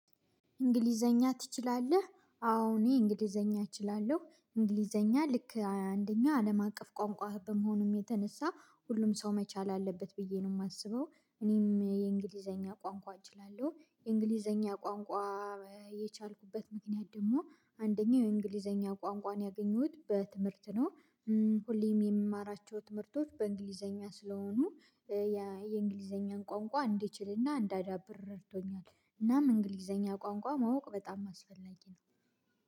እንግሊዘኛ ትችላለህ አዎ እኔ እንግሊዘኛ እችላለሁ እንግሊዘኛ ልክ አንደኛ አለም አቀፍ ቋንቋ በመሆኑም የተነሳ ሁሉም ሰው መቻል አለበት ብዬ ነው። የማስበው እኔም የእንግሊዘኛ ቋንቋ እችላለሁ የእንግሊዘኛ ቋንቋ። የቻልኩበት ምክንያት ደግሞ አንደኛው የእንግሊዘኛ ቋንቋን ያገኘሁት በትምህርት ነው። ሁሌም የምማራቸው ትምህርቶች በእንግሊዘኛ ስለሆኑ የእንግሊዘኛን ቋንቋ እንድችልና እንዳዳብር ረድቶኛል። እናም እንግሊዘኛ ቋንቋ ማወቅ በጣም አስፈላጊ ነው።